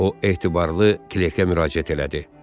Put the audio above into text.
O etibarlı klerkə müraciət elədi.